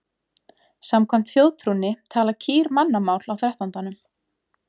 Samkvæmt þjóðtrúnni tala kýr mannamál á þrettándanum.